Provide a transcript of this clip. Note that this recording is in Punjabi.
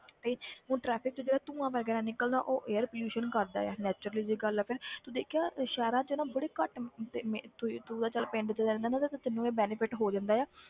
ਤੇ ਹੁਣ traffic 'ਚ ਜਿਹੜਾ ਧੂੰਆ ਵਗ਼ੈਰਾ ਨਿੱਕਲਦਾ ਉਹ air pollution ਕਰਦਾ ਹੈ natural ਜਿਹੀ ਗੱਲ ਆ ਫਿਰ ਤੂੰ ਦੇਖਿਆ ਸ਼ਹਿਰਾਂ 'ਚ ਨਾ ਬੜੀ ਘੱਟ ਤੁਸੀਂ ਤੂੰ ਤਾਂ ਚੱਲ ਪਿੰਡ 'ਚ ਰਹਿਨਾ ਨਾ ਤੇ ਤੈਨੂੰ ਇਹ benefit ਹੋ ਜਾਂਦਾ ਆ,